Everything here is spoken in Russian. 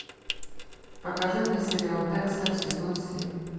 покажи мне сериал декстер сезон семь